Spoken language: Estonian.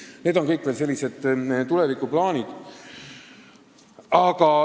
Aga need on kõik veel tulevikuplaanid.